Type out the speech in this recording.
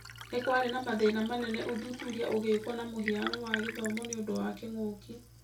Nĩkũarĩ na mathĩna manene ũthuthuria ũgĩkwo na mũhiano wa gĩthomo nĩũndũ wa kĩng'ũki.